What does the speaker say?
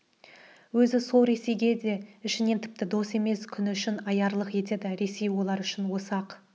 өзі сол ресейге да ішінен тіпті дос емес күні үшін аярлық етеді ресей олар үшін осы-ақ